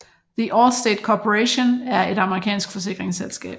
The Allstate Corporation er et amerikansk forsikringsselskab